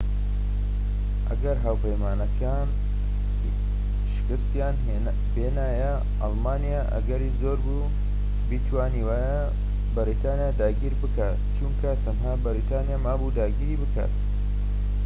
ئەگەر هاوپەیمانان شکستیان بێنایە ئەڵمانیا ئەگەری زۆربوو بیتوانیایە بەریتانیا داگیر بکات چونکە تەنها بەریتانیا مابوو داگیری بکات